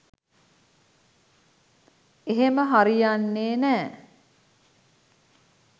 එහෙම හරියන්නේ නෑ